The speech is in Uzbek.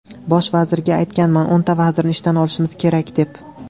Bosh vazirga aytganman, o‘nta vazirni ishdan olishimiz kerak, deb.